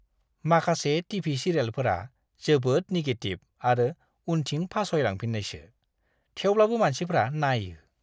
माखासे टि.भि. सिरियेलफोरा जोबोद निगेटिभ आरो उनथिं फासयलांफिन्नायसो थेवब्लाबो मानसिफ्रा नायो!